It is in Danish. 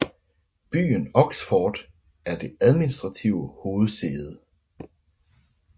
Byen Oxford er det administrative hovedsæde